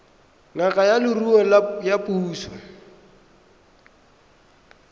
ngaka ya leruo ya puso